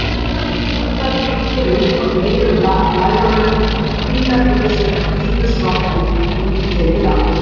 Snöktandi lít ég upp frá gleiðum lærunum: Hvítar buxur, hvítur sloppur, útitekið andlit.